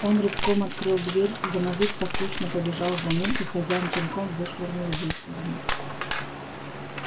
он рывком открыл дверь домовик послушно побежал за ним и хозяин пинком вышвырнул его из кабинета